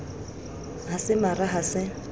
ha se mara ha se